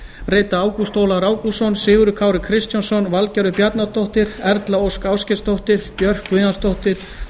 rita ágúst ólafur ágústsson sigurður kári kristjánsson valgerður bjarnadóttir erla ósk ásgeirsdóttir björk guðjónsdóttir